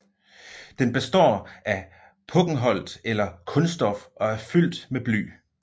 Den består af pokkenholt eller kunststof og er fyldt med bly